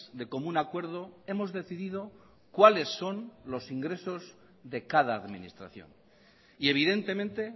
de común acuerdo hemos decidido cuales son los ingresos de cada administración y evidentemente